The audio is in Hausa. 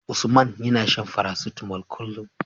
Usman yAna shan paracetamol kullun